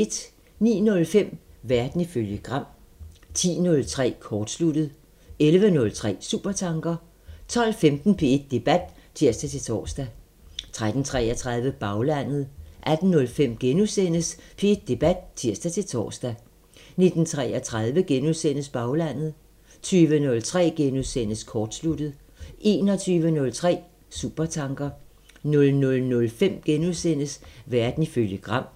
09:05: Verden ifølge Gram 10:03: Kortsluttet 11:03: Supertanker 12:15: P1 Debat (tir-tor) 13:33: Baglandet 18:05: P1 Debat *(tir-tor) 19:33: Baglandet * 20:03: Kortsluttet * 21:03: Supertanker 00:05: Verden ifølge Gram *